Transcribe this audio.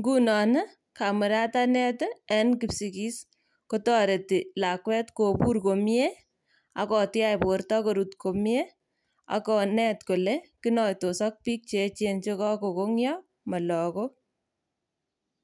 Ngunon ii kamuratanet ii en kotoreti lakwet kobur komie ak kotiach borto korut komie ak konet kole kinoitos ok biik cheechen yekokong'io molokok.